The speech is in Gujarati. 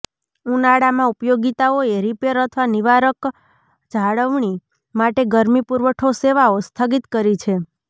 ઉનાળામાં ઉપયોગિતાઓએ રિપેર અથવા નિવારક જાળવણી માટે ગરમી પુરવઠો સેવાઓ સ્થગિત કરી છે